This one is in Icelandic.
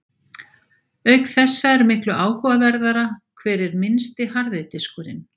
Auk þessa er miklu áhugaverðara hver er minnsti harði diskurinn!